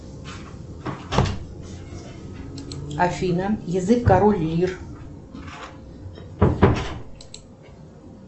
афина язык король лир